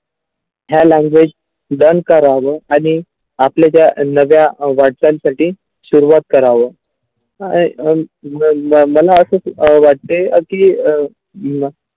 ह्या language बंध करावा आणि आपल्या ज्या नव्या भारतांसाठी शुरुवात करावं मला असं अ वाटते की.